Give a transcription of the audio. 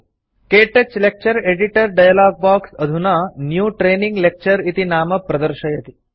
क्तौच lecture editor dialogue box अधुना new training lecture इति नाम प्रदर्शयति